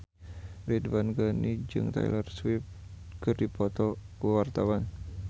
Ridwan Ghani jeung Taylor Swift keur dipoto ku wartawan